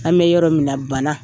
An be yɔrɔ min na bana